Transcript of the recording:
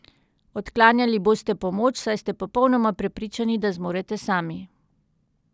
Odklanjali boste pomoč, saj ste popolnoma prepričani, da zmorete sami.